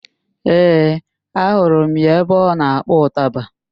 Ee, ahụrụ m ya ebe ọ na-akpọ ụtaba